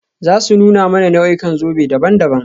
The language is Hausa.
Za su nuna mana nau'ikan zobe daban-daban.